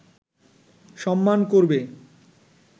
সম্মান করবে